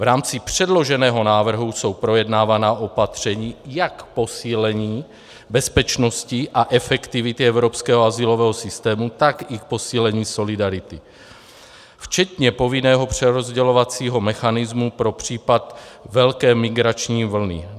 V rámci předloženého návrhu jsou projednávána opatření jak k posílení bezpečnosti a efektivity evropského azylového systému, tak i k posílení solidarity, včetně povinného přerozdělovacího mechanismu pro případ velké migrační vlny.